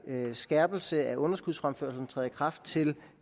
skærpelse af underskudsfremførslen træder i kraft til